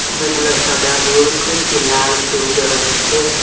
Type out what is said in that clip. অনেকগুলা সাদা শুঁড় কয়েকটি লাল শুঁড় দেখা যাচ্ছে।